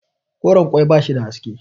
koren ƙwai ba shi da haske